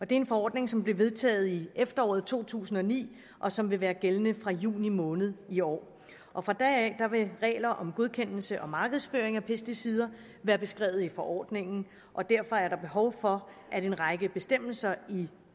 det er en forordning som blev vedtaget i efteråret to tusind og ni og som vil være gældende fra juni måned i år år fra da af vil regler om godkendelse og markedsføring af pesticider være beskrevet i forordningen og derfor er der behov for at en række bestemmelser i